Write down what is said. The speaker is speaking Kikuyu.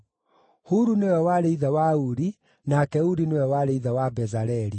Huru nĩwe warĩ ithe wa Uri, nake Uri nĩwe warĩ ithe wa Bezaleli.